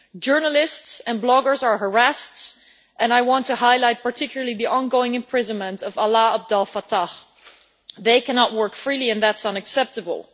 Journalists and bloggers are harassed and I want to highlight particularly the ongoing imprisonment of Alaa Abd El Fattah and they cannot work freely, and that is unacceptable.